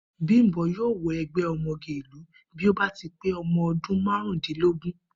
Bímpé yóò wo̩ e̩gbé̩ o̩mo̩ge ìlú bí ó bá ti pé o̩mo̩ o̩dún márùndínlógún